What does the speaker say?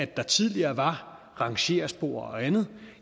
der tidligere var rangerspor og andet